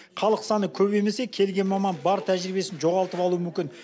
халық саны көбеймесе келген маман бар тәжірибесін жоғалтып алуы мүмкін